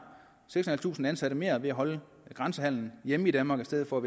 seks tusind ansatte mere ved at holde grænsehandelen hjemme i danmark i stedet for